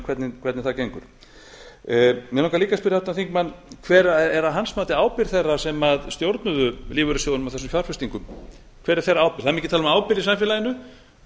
þingmaðurinn hvernig það gengur mig langar líka að spyrja háttvirtan þingmann hver er að hans mati ábyrgð þeirra sem stjórnuðu lífeyrissjóðunum á þessum fjárfestingum hver er þeirra ábyrgð það er mikið tala um ábyrgð í samfélaginu